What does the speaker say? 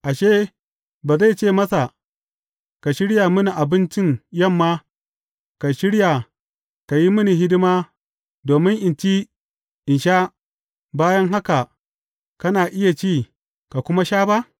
Ashe, ba zai ce masa, Ka shirya mini abincin yamma, ka shirya ka yi mini hidima domin in ci in sha, bayan haka kana iya ci, ka kuma sha ba’?